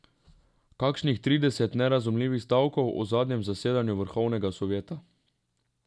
Kakšnih trideset nerazumljivih stavkov o zadnjem zasedanju vrhovnega sovjeta.